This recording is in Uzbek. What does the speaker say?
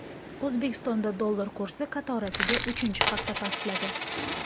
O‘zbekistonda dollar kursi qatorasiga uchinchi hafta pastladi.